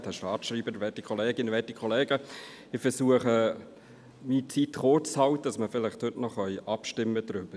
Ich versuche, mich in meiner Redezeit kurz zu halten, damit wir vielleicht heute noch abstimmen können.